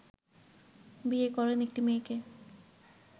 বিয়ে করেন একটি মেয়েকে